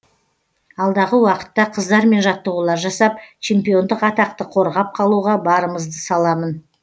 алдағы уақытта қыздармен жаттығулар жасап чемпиондық атақты қорғап қалуға барымызды саламын